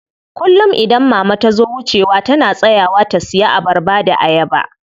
Kullum idan mama tazo wucewa tana tsayawa ta siya abarba da ayaba.